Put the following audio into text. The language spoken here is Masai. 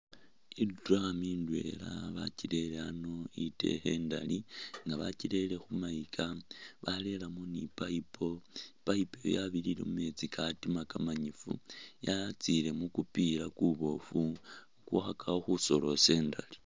I'drum ndwela bakirele a'ano itekhe indali nga bakirele khumayika barelamo ni pipe, i'pipe oyo yabirire mumeetsi katima kamanyifu, yatsile mukupila kuboofu kukhakakho khusonde indali